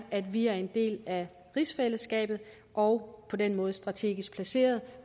at vi er en del af rigsfællesskabet og på den måde strategisk placeret